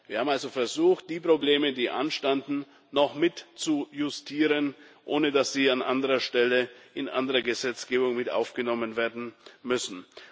Wir haben also versucht, die Probleme, die anstanden, noch mit zu justieren, ohne dass sie an anderer Stelle in andere Gesetzgebung mit aufgenommen werden müssen.